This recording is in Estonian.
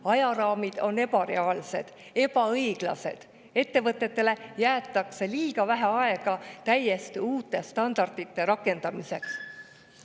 Ajaraamid on ebareaalsed, ebaõiglased, ettevõtetele jäetakse liiga vähe aega täiesti uute standardite rakendamiseks.